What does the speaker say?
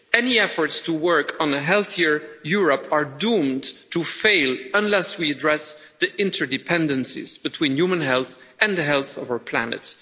Any efforts to work on a healthier Europe are doomed to fail unless we address the interdependencies between human health and the health of our planet.